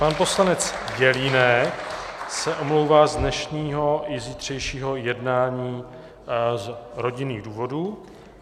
Pan poslanec Jelínek se omlouvá z dnešního i zítřejšího jednání z rodinných důvodů.